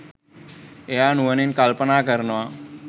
එයා නුවණින් කල්පනා කරනවා